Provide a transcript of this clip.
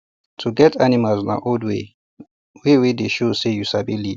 to get animals na old way wey dey show say you sabi lead